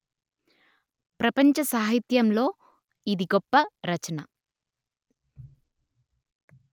ప్రపంచ సాహిత్యంలో ఇది గొప్ప రచన